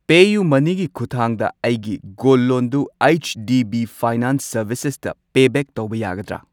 ꯄꯦꯌꯨꯃꯅꯤꯒꯤ ꯈꯨꯠꯊꯥꯡꯗ ꯑꯩꯒꯤ ꯒꯣꯜ ꯂꯣꯟꯗꯨ ꯑꯩꯆ ꯗꯤ ꯕꯤ ꯐꯥꯏꯅꯥꯟꯁ ꯁꯔꯕꯤꯁꯦꯁꯇ ꯄꯦ ꯕꯦꯛ ꯇꯧꯕ ꯌꯥꯒꯗ꯭ꯔꯥ꯫